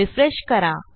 refresh करा